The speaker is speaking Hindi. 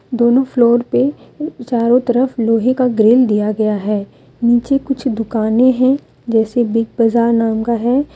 दोनों फ्लोर पे अ चारों तरफ लोहे का ग्रील दिया गया हैं नीचे कुछ दुकानें है जैसे बिग बाजार नाम का है ।